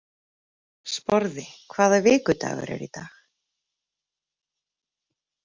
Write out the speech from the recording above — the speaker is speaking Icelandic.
Sporði, hvaða vikudagur er í dag?